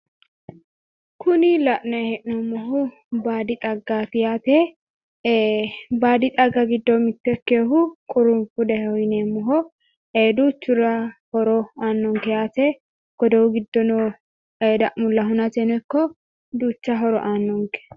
Kuni la'naayi hee'noommohu baadi xaggaati yaate, baadi xagga giddo mitto ikkehu qurufudaho yineemmoho, duuchurirs horo aannonke yaate, godowu giddo no dammulla hunateno ikko duucha horo aannonke.